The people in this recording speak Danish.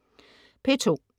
P2: